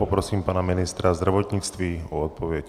Poprosím pana ministra zdravotnictví o odpověď.